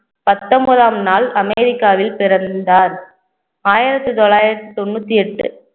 பத்தொன்பதாம் நாள் அமெரிக்காவில் பிறந்தார். ஆயிரத்தி தொள்ளாயிரத்தி தொண்ணூத்தி எட்டு